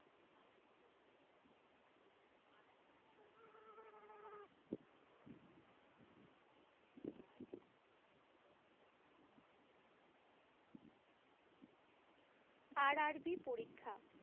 RRB পরীক্ষা